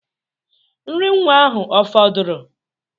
Nri nwa ahụ ọ fọdụrụ?